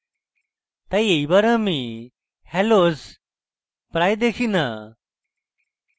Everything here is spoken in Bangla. তাই এইবার আমি hallows প্রায় দেখি no